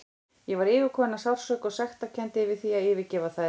Ég var yfirkomin af sársauka og sektarkennd yfir því að yfirgefa þær.